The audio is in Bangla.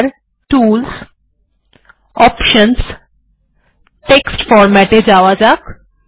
এখানে টুলস অপশনস টেক্সট format এ যাওয়া যাক